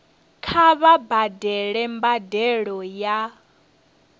kha vha badele mbadelo ya